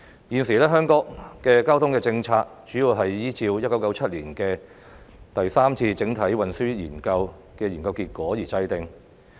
現時，香港的交通政策，主要是依照1997年展開的第三次整體運輸研究的研究結果而制訂。